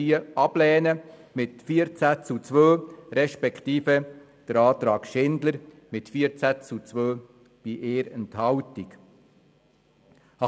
Wir lehnen sie beziehungsweise den Antrag Schindler mit 14 zu 2 Stimmen bei 1 Enthaltung ab.